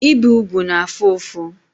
Ibi ugwu na-afu ufu